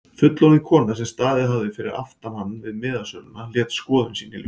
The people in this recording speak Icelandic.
Fullorðin kona sem staðið hafði fyrir aftan hann við miðasöluna lét skoðun sína í ljós.